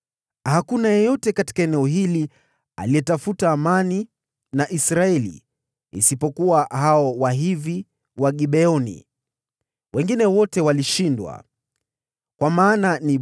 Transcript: Hakuna mji wowote katika eneo hili uliofanya mkataba wa amani na Israeli, isipokuwa hao Wahivi wa Gibeoni. Wengine wote walishindwa katika vita.